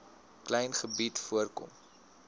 klein gebied voorkom